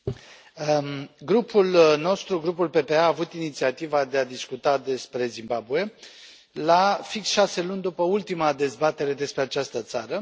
Doamnă președintă, grupul nostru, Grupul PPE, a avut inițiativa de a discuta despre Zimbabwe la fix șase luni după ultima dezbatere despre această țară.